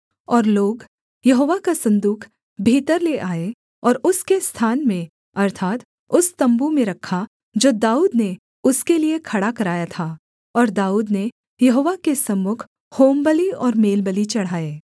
और लोग यहोवा का सन्दूक भीतर ले आए और उसके स्थान में अर्थात् उस तम्बू में रखा जो दाऊद ने उसके लिये खड़ा कराया था और दाऊद ने यहोवा के सम्मुख होमबलि और मेलबलि चढ़ाए